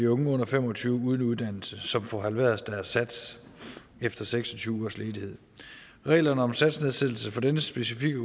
unge under fem og tyve år uden uddannelse som får halveret deres sats efter seks og tyve ugers ledighed reglerne om satsnedsættelse for denne specifikke